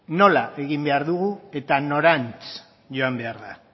nola egin behar dira eta norantz joan behar da